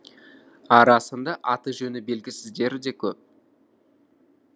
арасында аты жөні белгісіздері де көп